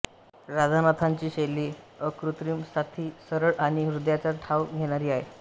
राधानाथांची शैली अकृत्रिम साधी सरळ आणि हृदयाचा ठाव घेणारी आहे